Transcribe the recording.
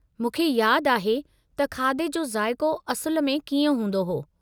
मूंखे यादि आहे त खाधे जो ज़ाइक़ो असुलु में कीअं हूंदो हो।